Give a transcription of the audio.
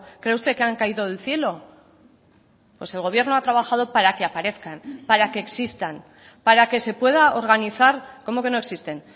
cree usted que han caído del cielo pues el gobierno ha trabajado para que aparezcan para que existan para que se pueda organizar cómo que no existen